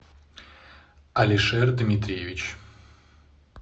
алишер дмитриевич